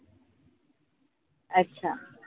अच्छा